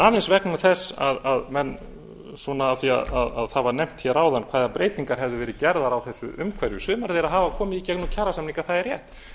aðeins vegna þess að það var nefnt hér áðan hvaða breytingar hefðu verið gerðar á þessu umhverfi sumar þeirra hafa komið í gegnum kjarasamninga það er rétt